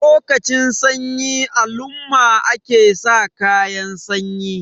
lokacin sanyi alumma ake sa kayan sanyi